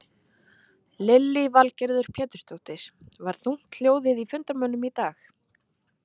Lillý Valgerður Pétursdóttir: Var þungt hljóðið í fundarmönnum í dag?